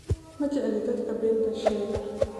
Ma jecli dadka beenta sheega